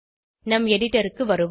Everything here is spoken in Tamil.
நம் எடிடருக்கு வருவோம்